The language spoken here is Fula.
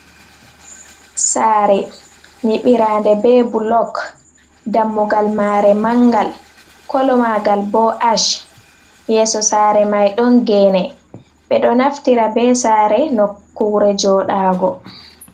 Saare nyiɓirande be bulok. Dammugal maare mangal, kolo magal bo ash, yeeso saare mai ɗon geene. Ɓe ɗo naftira be saare nokkure joɗago.